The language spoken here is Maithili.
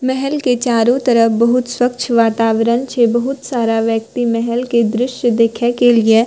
महल के चारो तरफ बहुत स्वच्छ वातावरण छै बहुत सारा व्यक्ति महल के दृश्य देखे के लिए --